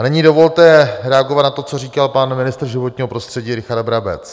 A nyní dovolte reagovat na to, co říkal pan ministr životního prostředí Richard Brabec.